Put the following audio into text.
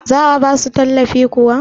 za a ba su tallafi kuwa?